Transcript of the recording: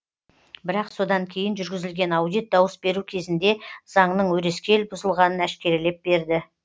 бірақ содан кейін жүргізілген аудит дауыс беру кезінде заңның өрескел бұзылғанын әшкерелеп берді